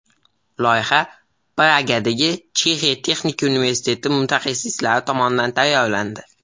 Loyiha Pragadagi Chexiya texnika universiteti mutaxassislari tomonidan tayyorlandi.